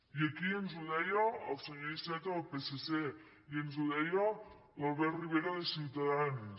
i aquí ens ho deia el senyor iceta del psc i ens ho deia l’albert rivera de ciutadans